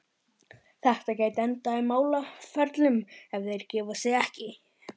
Þetta gæti endað í málaferlum, ef þeir gefa sig ekki.